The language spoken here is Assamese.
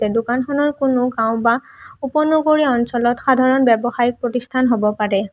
এই দোকানখনত কোনো গাওঁ বা উপ-নগৰীয় অঞ্চলত সাধাৰণ ব্যৱসায়িক প্ৰতিষ্ঠান হ'ব পাৰে।